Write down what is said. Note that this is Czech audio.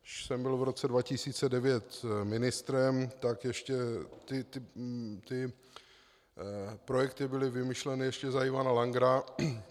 Když jsem byl v roce 2009 ministrem, tak ještě ty projekty byly vymyšleny ještě za Ivana Langera.